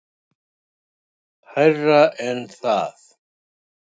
Hærra en það.